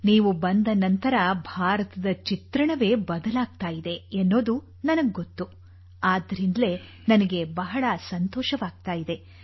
ನೀವು ಬಂದ ನಂತರ ಭಾರತದ ಚಿತ್ರಣವೇ ಬದಲಾಗುತ್ತಿದೆ ಎನ್ನುವುದು ನನಗೆ ಗೊತ್ತು ಆದ್ದರಿಂದಲೇ ನನಗೆ ಬಹಳ ಸಂತೋಷವಾಗುತ್ತದೆ